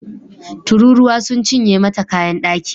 Tururuwa sun cinye mata kayan daki